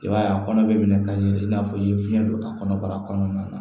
I b'a ye a kɔnɔ bɛ minɛ ka yɛlɛ i n'a fɔ i ye fiɲɛ don a kɔnɔ bara kɔnɔna na